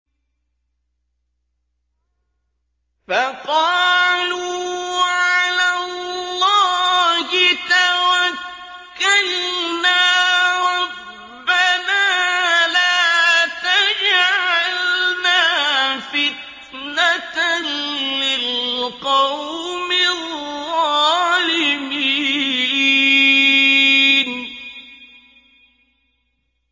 فَقَالُوا عَلَى اللَّهِ تَوَكَّلْنَا رَبَّنَا لَا تَجْعَلْنَا فِتْنَةً لِّلْقَوْمِ الظَّالِمِينَ